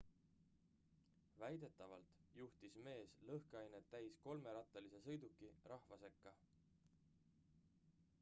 väidetavalt juhtis mees lõhkeainet täis kolmerattalise sõiduki rahva sekka